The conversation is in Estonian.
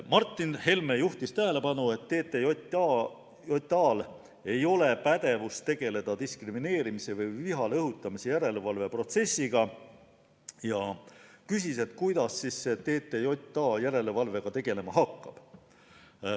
Martin Helme juhtis tähelepanu sellele, et TTJA-l ei ole pädevust tegeleda diskrimineerimise või viha õhutamise järelevalve protsessiga, ja küsis, kuidas TTJA selle järelevalvega tegelema hakkab.